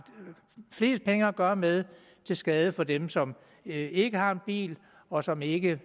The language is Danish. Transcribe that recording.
flest penge at gøre med til skade for dem som ikke har en bil og som ikke